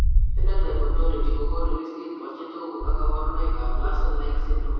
Phenotype ontology kokoonu listini bo chetogu ak kaborunoik ab larsen like syndrome